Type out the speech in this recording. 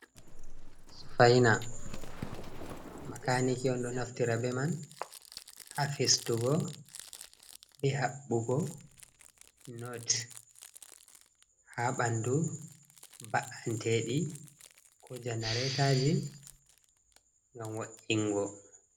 Sufaina, makaniki on ɗo naftira be man, ha fistugo be haɓɓugo not, ha ɓandu baanteɗi janaretoji ngam wa’ingo.